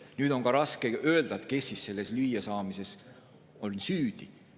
Nüüd on raske öelda, kes selles lüüasaamises süüdi on.